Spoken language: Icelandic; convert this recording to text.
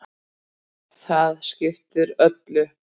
Það skiptir öllu.